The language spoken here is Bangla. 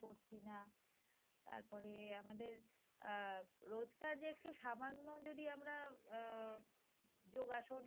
করছি না তারপরে আমাদের আহ রোজকার যে একটু সামান্য যদি আমরা আহ যোগাসন